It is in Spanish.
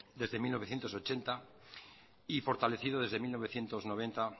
desde mil novecientos ochenta y fortalecido desde mil novecientos noventa